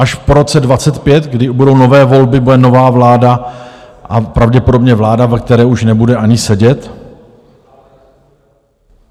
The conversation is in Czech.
Až po roce 2025, kdy budou nové volby, bude nová vláda a pravděpodobně vláda, ve které už nebude ani sedět?